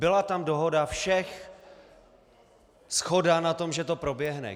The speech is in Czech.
Byla tam dohoda všech, shoda na tom, že to proběhne.